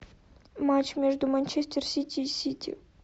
матч между манчестер сити и сити